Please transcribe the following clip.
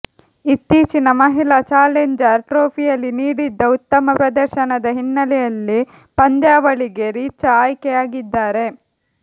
ಇತ್ತೀಚಿನ ಮಹಿಳಾ ಚಾಲೆಂಜರ್ ಟ್ರೋಫಿಯಲ್ಲಿ ನೀಡಿದ್ದ ಉತ್ತಮ ಪ್ರದರ್ಶನದ ಹಿನ್ನೆಲೆಯಲ್ಲಿ ಪಂದ್ಯಾವಳಿಗೆ ರಿಚಾ ಆಯ್ಕೆಯಾಗಿದ್ದಾರೆ